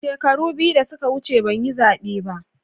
Shekaru biyu da suka wuce ban yi zabe ba.